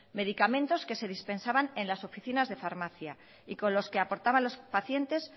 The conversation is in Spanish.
medicamentos que se dispensaban en las oficinas de farmacia y con los que aportaban los pacientes